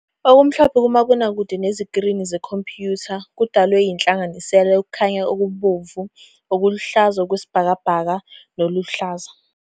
Okumhlophe kumabonakude nezikrini zekhompuyutha kudalwe yinhlanganisela yokukhanya okubomvu, okuluhlaza okwesibhakabhaka, nokuluhlaza.